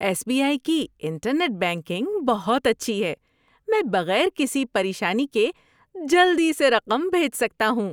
S B I کی internet banking بہت اچھی ہے۔ میں بغیر کسی پریشانی کے جلدی سے رقم بھیج سکتا ہوں۔